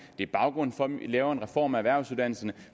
det er baggrunden for at vi laver en reform af erhvervsuddannelserne